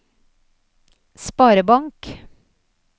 sparebank